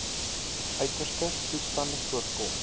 uiterste toestande voorkom